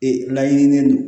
Ee laɲininen don